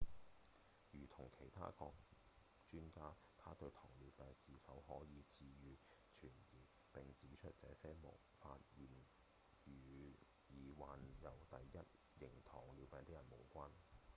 如同其他專家他對糖尿病是否可以治癒存疑並指出這些發現與已經患有第一型糖尿病的人無關